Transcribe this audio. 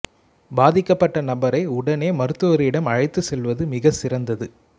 பாதிக்கப்பட்ட நபரை உடனே மருத்துவரிடம் அழைத்துச் செல்வது மிகச் சிறந்தது